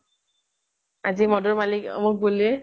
আজি মদৰ মালিক অমুক বুলি